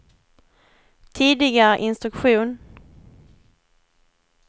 tidigare instruktion